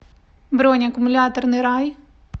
бронь аккумуляторный рай